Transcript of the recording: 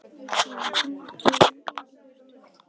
Viktoría, hringdu í Engilbjörtu.